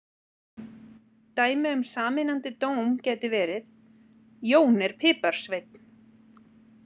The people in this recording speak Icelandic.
Dæmi um sameinandi dóm gæti verið: Jón er piparsveinn.